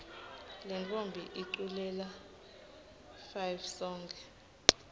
lentfombi iculela fivesonkhe